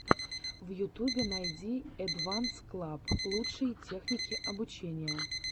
в ютубе найти эдванс клаб лучшие техники обучения